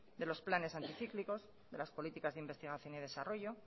de los planes anticíclicos de las políticas de investigación y desarrollo